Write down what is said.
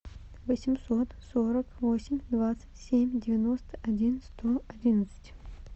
восемьсот сорок восемь двадцать семь девяносто один сто одиннадцать